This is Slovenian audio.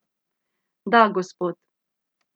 Da, gospod.